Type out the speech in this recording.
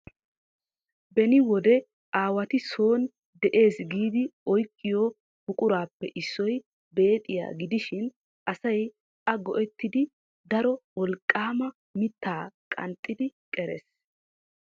Beni wode aawati soon de'ees giidi oyqqiyo buqurappe issoy beexxiya gidishin asay a go"ettidi daro wolqqama mittaa qanxxidi qerees .